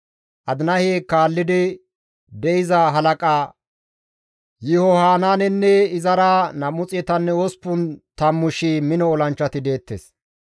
Adinahe kaallidi de7iza halaqa Yihohanaanenne; izara 280,000 mino olanchchati deettes.